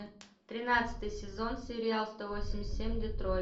тринадцатый сезон сериал сто восемьдесят семь детройт